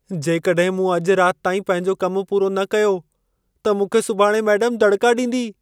जेकॾहिं मूं अॼु रात ताईं पंहिंजो कमु पूरो न कयो, त मूंखे सुभाणे मेडम धड़िका ॾींदी।